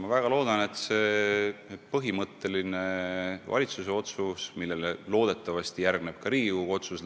Ma väga loodan, et see põhimõtteline valitsuse otsus, millele loodetavasti järgneb ka Riigikogu otsus